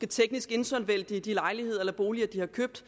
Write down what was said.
teknisk insolvente i de lejligheder eller boliger de har købt